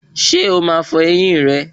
Ṣé o máa fọ ẹyín rẹ